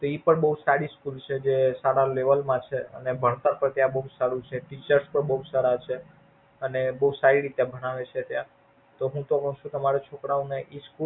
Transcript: એ પણ બોવ સારી School છે જે સારા Level માં છે ને ભણતર પણ બોવ સારું છે અને Teacher તો બોવ સારા છે અને બોવ સારી રીતે ભણાવે છે ત્યાં તો હું તો કવ છું તમારા છોકરા ને એ School school kato njoseph છે.